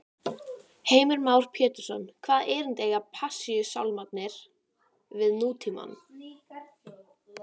Vellirnir tveir voru í stanslausri notkun meðan bjart var.